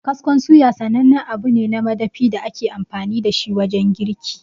Kaskon suya sanannen abu ne na madafi da ake amfani dashi wajen girki.